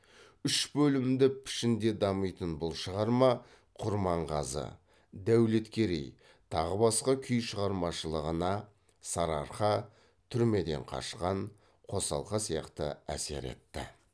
үш бөлімді пішінде дамитын бұл шығарма құрманғазы дәулеткерей тағы басқа күй шығармашылығына әсер етті